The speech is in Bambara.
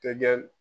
Tɛ